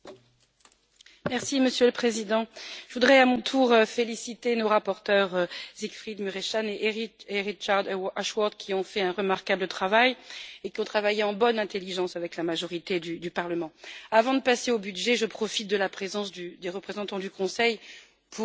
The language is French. Monsieur le Président, je voudrais, à mon tour, féliciter nos rapporteurs, Siegfried Mureşan et Richard Ashworth, qui ont fait un remarquable travail et qui ont travaillé en bonne intelligence avec la majorité du Parlement. Avant de passer au budget, je profite de la présence des représentants du Conseil pour vous demander,